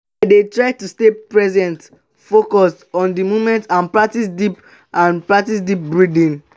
i dey try to stay present focus on di moment and practice deep and practice deep breathing.